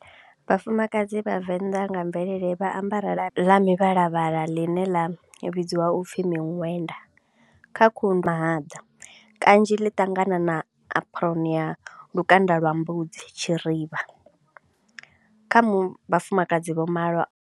Vhafumakadzi vha Venḓa nga mvelele vha ambara labi ḽa mivhalavhala ḽine ḽa vhidziwa u pfi miṅwenda, kha khundu mahaḓa kanzhi ḽi ṱangana na apron ya lukanda lwa mbudzi, tshirivha, kha vhafumakadzi vho malwa.